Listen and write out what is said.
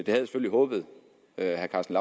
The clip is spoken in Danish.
jeg selvfølgelig håbet herre karsten